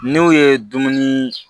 N'u ye dumuni